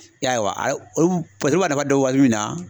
I y'a ye wa olu b'a nafa dɔn waati min na